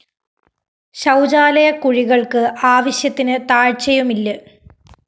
ശൗചാലയ കുഴികള്‍ക്ക് ആവശ്യത്തിന് താഴ്ച്ചയുമില്ല്